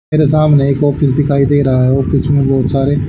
मेरे सामने एक ऑफिस दिखाई दे रहा है ऑफिस में बहोत सारे--